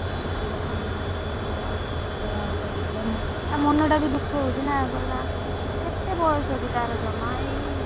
ହଁ ସେଇ କଥା ମତେ କହୁଥିଲା କହିଲା ଆଉ ଶୀଘ୍ର ବାହାଘର କରିଦେଲେ ତା ମନଟା ବି ଦୁଖ ହଉଛିନା କହିଲା ମୁଁ କେତେ ବୟସ କି ତାର ଜମା ଏଇ,